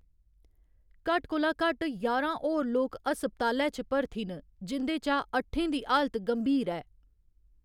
घट्ट कोला घट्ट ञारां होर लोक अस्पतालै च भर्थी न, जिं'दे चा अट्ठें दी हालत गंभीर ऐ।